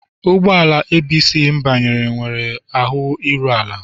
Ụgbọ ala ABC m banyere nwere ahụ iru ala.